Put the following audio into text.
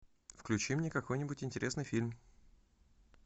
включи мне какой нибудь интересный фильм